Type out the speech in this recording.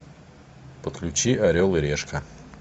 подключи орел и решка